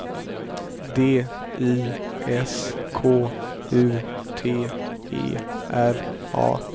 D I S K U T E R A